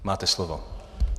Máte slovo.